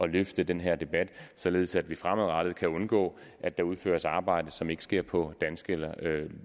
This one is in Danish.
løfte den her debat således at vi fremadrettet kan undgå at der udføres arbejde som ikke sker på danske